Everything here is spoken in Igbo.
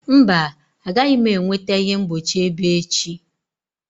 Mba, agaghị m enweta ihe mgbochi ebe echi.